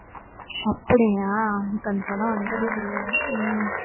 அப்படியா? எனக்கு அந்த படம் வந்ததே தெரியாது உம்